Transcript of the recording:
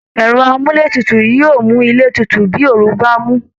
Ẹ̀rọ amúletutù ni yóò mú ilé tutù bí ooru bá dé